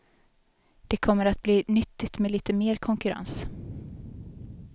Det kommer att bli nyttigt med lite mer konkurrens.